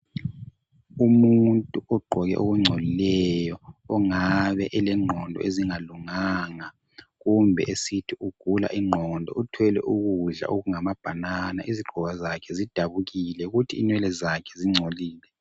Umuntu ugqoke okungcolileyo ongabe elengqondo ezingalunganga kumbe esithi ugula ingqondo uthwele ukudla ngamabanana izigqoko zakhe zidabukile kuthi inwele zakhe zingcolile.